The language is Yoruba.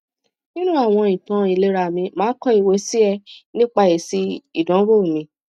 ninu awon itan ilera mi ma ko iwe si e nipa esi idonwo mi